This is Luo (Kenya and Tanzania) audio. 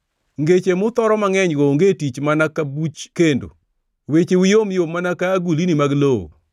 Ngeche muthoro mangʼenygo onge tich mana ka buch kendo; wecheu yomyom mana ka agulni mag lowo.